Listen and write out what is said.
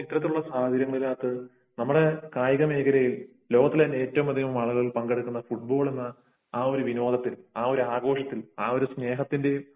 അപ്പോൾ ഇത്തരത്തിലുള്ള സാഹചര്യത്തിൽ നമ്മളെ കായിക മേഖലയിൽ ലോകത്തില് തന്നെ ഏറ്റവും കൂടുതൽ ആളുകൾ പങ്കെടുക്കുന്ന ഫുട്ബാൾ എന്ന ആ ഒരു വിനോദത്തിൽ ആ ഒരു ആഘോഷത്തിൽ ആ ഒരു സ്നേഹത്തിന്റെയും